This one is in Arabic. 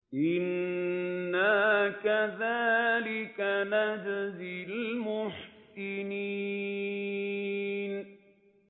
إِنَّا كَذَٰلِكَ نَجْزِي الْمُحْسِنِينَ